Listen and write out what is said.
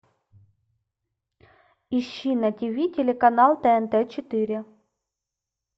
ищи на тиви телеканал тнт четыре